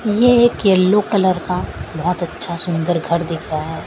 ये एक yellow colour का बहुत अच्छा सुंदर घर दिख रहा है।